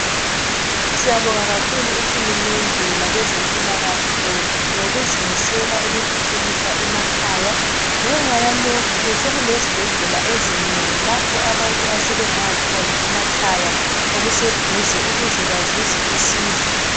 Siyabonga kakhulu uhulumende labezempilakahle .Ngokuzimisela ukuthuthukisa emakhaya. Ngenxa yalokhu sokulezibhedlela ezinengi lapho abantu asebengaya khona emakhaya okuseduze ukuze bazuze usizo .